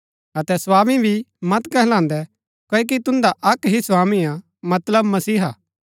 अतै स्वामी भी मत कहलान्दैं क्ओकि तुन्दा अक्क ही स्वामी हा मतलब मसीहा